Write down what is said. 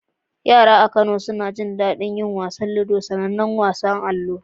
Yara a Kano suna jin daɗin wasan ludo, sanannen wasan allo.